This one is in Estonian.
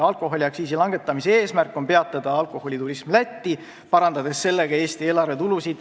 Alkoholiaktsiisi langetamise eesmärk on peatada alkoholiturism Lätti, suurendades sellega Eesti eelarvetulusid.